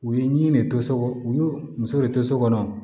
U ye min de to so u ye muso de to so kɔnɔ